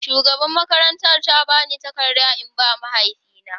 Shugabar makarantar ta ba ni takarda in ba mahaifi na.